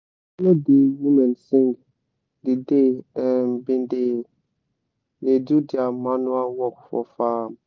i follow de women sing d day em been da da do dia manure work for faarm